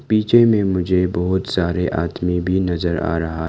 पीछे में मुझे बहुत सारे आदमी भी नजर आ रहा--